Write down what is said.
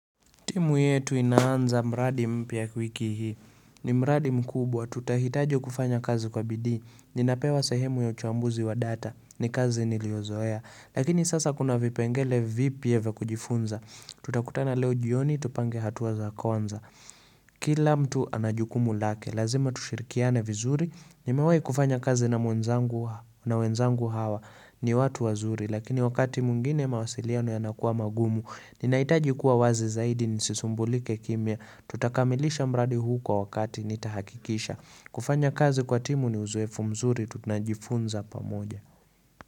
Timu yetu inaanza mradi mpya wiki hii, ni mradi mkubwa, tutahitaji kufanya kazi kwa bidii, ninapewa sehemu ya uchambuzi wa data, ni kazi niliozoea, lakini sasa kuna vipengele vipya vya kujifunza, tutakutana leo jioni, tupange hatua za kuanza. Kila mtu anajukumu lake, lazima tushirikiane vizuri, nimewai kufanya kazi na wenzangu hawa ni watu wazuri, lakini wakati mwingine mawasiliano yanakuwa magumu, ninaitaji kuwa wazi zaidi nisisumbulike kimya, tutakamilisha mradi huu kwa wakati nitahakikisha. Kufanya kazi kwa timu ni uzoefu mzuri, tu tunajifunza pamoja.